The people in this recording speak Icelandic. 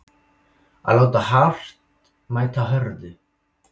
Að láta hart mæta hörðu